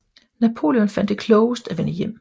Napoleon fandt det klogest at vende hjem